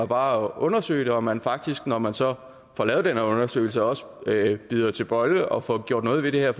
bare at undersøge det og at man faktisk når man så får lavet den her undersøgelse også bider til bolle og får gjort noget ved det her